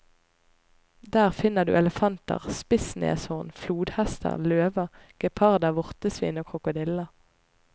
Der finner du elefanter, spissneshorn, flodhester, løver, geparder, vortesvin og krokodiller.